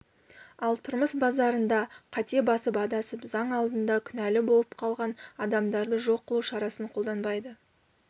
ал тұрмыс базарында қате басып адасып заң алдында күнәлы болып қалған адамдарды жоқ қылу шарасын қолданбайды